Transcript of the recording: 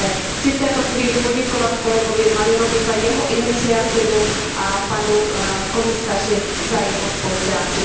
Chci v této chvíli poděkovat kolegovi Malinovovi za jeho iniciativu a panu komisaři za jeho spolupráci.